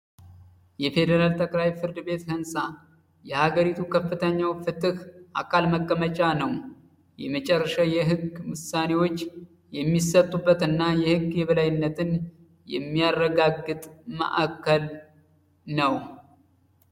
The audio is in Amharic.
የፌዴራል ተክራይ ፍርድ ቤት ኸንሳ የሀገሪቱ ከፍተኛው ፍትህ አካል መከመጫ ነው። የመጨርሻ የሕግ ምሳኔዎች የሚሰጡበት እና የሕግ የበላይነትን የሚያረጋግጥ ማዕከል ነው።